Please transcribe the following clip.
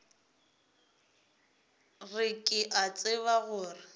re ke a tseba gore